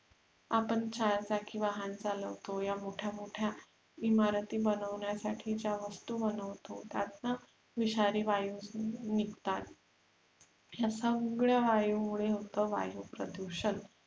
आपण छायासाठी वाहन चालवतो या मोठ्या मोठ्या इमारती बनवण्यासाठी ज्या वास्तु बनवतो त्यातून विषारी वायू निघतात या सगळ्या वायूमुळे होते वायु प्रदुषण